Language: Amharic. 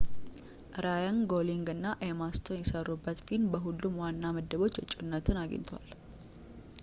ራየን ጎሊንግ እና ኤማ ስቶን የሰሩበት ፊልም በሁሉም ዋና ምድቦች እጩነት አግኝተዋል